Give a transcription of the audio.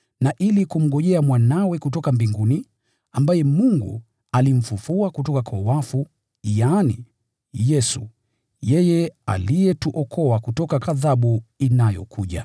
na ili kumngojea Mwanawe kutoka mbinguni, ambaye Mungu alimfufua kutoka kwa wafu: yaani, Yesu, yeye aliyetuokoa kutoka ghadhabu inayokuja.